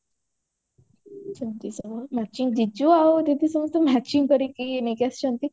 ଆଣିଛନ୍ତି ସେମାନେ matching ଜିଜୁ ଆଉ ଦିଦି ସମସ୍ତେ matching କରିକି ନେଇକି ଆସିଛନ୍ତି